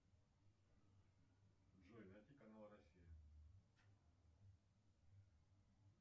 джой найти канал россия